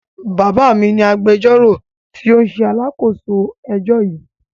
Bàbá mi ni agbẹjọ́rò tí ó ń ṣe alákòóso ẹjọ́ yìí.